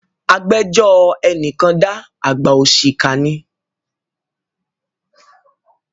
Agbẹ́jọ́ ẹni kan dá, àgbà òṣìkà ni.